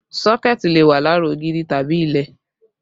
Sọ́kẹ̀tì lè wà lára ògiri tàbí ilẹ̀